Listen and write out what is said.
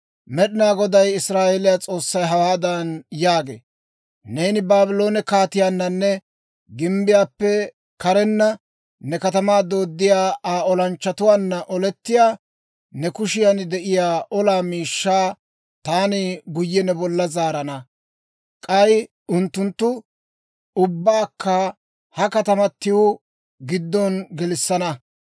Med'inaa Goday Israa'eeliyaa S'oossay hawaadan yaagee; ‹Neeni Baabloone kaatiyaananne gimbbiyaappe karenna ne katamaa dooddiyaa Aa olanchchatuwaanna olettiyaa, ne kushiyan de'iyaa olaa miishshaa taani guyye ne bolla zaarana. K'ay unttuntta ubbaakka ha katamatiw giddo gelissana.